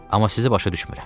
Amma sizi başa düşmürəm.